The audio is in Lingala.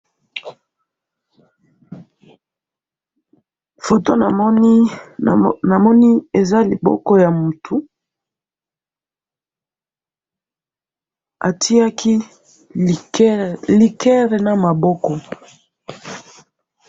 Namoni loboko ya mutu esimbi mulangi ya masanga.